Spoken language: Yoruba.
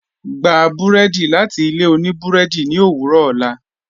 Gbà bùrẹ́dì láti ilẹ̀ ọ̀nì bùrẹ́dì ni owurọ̀ ọlá